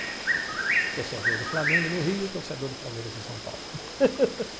Torcedor do Flamengo no Rio, e torcedor do Palmeiras em São Paulo.